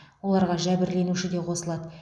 оларға жәбірленуші де қосылады